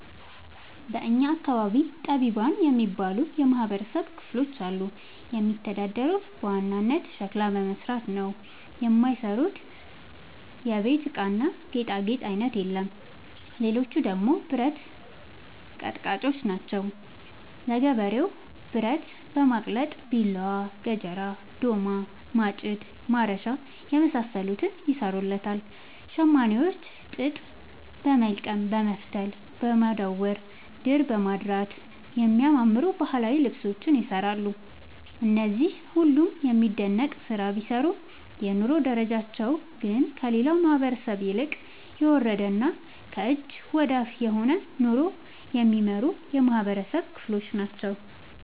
በእኛ አካባቢ ጠቢባን የሚባሉ የማህበረሰብ ክፍሎች አሉ። የሚተዳደሩት በዋናነት ሸክላ በመስራት ነው። የማይሰሩት የቤት እቃና ጌጣጌጥ አይነት የለም ሌቹ ደግሞ ብረት አቀጥቃጭጮች ናቸው። ለገበሬው ብረት በማቅለጥ ቢላዋ፣ ገጀራ፣ ዶማ፣ ማጭድ፣ ማረሻ የመሳሰሉትን ይሰሩለታል። ሸማኔዎች ጥጥ በወልቀም በመፍተል፣ በማዳወር፣ ድር በማድራት የሚያማምሩ ባህላዊ ልብሶችን ይሰራሉ። እነዚህ ሁሉም የሚደነቅ ስራ ቢሰሩም የኑሮ ደረጃቸው ግን ከሌላው ማህበረሰብ ይልቅ የወረደና ከእጅ ወዳፍ የሆነ ኑሮ የሚኖሩ የማህበረሰብ ክሎች ናቸው።